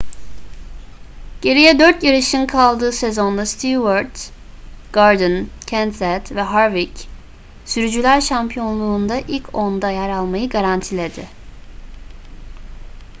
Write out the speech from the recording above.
geriye dört yarışın kaldığı sezonda stewart gordon kenseth ve harvick sürücüler şampiyonluğunda ilk onda yer almayı garantiledi